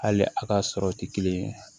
Hali a ka sɔrɔ tɛ kelen ye